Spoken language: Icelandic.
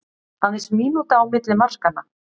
Aðeins mínúta á milli markanna